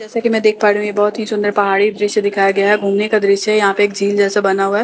जैसा की मैं देख पा रही हूँ ये बहुत ही सुन्दर पहाड़ी दृस्य दिखाया गया है घूमने का दृस्य है यहां पे एक झील जैसा बना हुआ है।